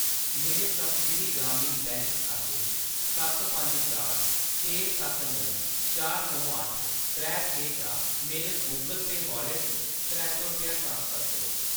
मेरे सप्तगिरी ग्रामीण बैंक खाते सत्त पंज चार छे सत्त नौ चार नौ अट्ठ त्रै छे चा मेरे गूगल पेऽ वाॅलेट च त्रै सौ रपेआ ट्रांसफर करो